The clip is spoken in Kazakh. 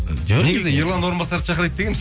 ерлан орынбасаровты шақырайық дегенбіз